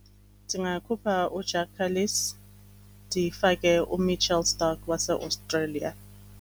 Ndingakhupha uJacques Kallis ndifake uMitchell Starc waseAustralia.